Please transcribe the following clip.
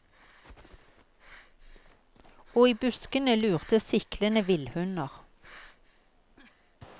Og i buskene lurte siklende villhunder.